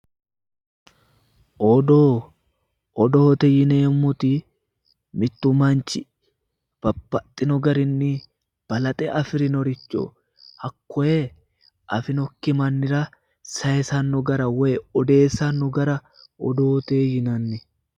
Odoo, odoote yineemmoti mittu manchi babbaxxino garinni balaxe afirinoricho hakkoye afi'nokki mannira saayiisanno gara woy odeessanno gara odoote yinanni.